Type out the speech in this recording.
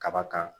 Kaba kan